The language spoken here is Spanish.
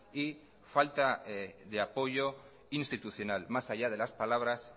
y falta de apoyo institucional más allá de las palabras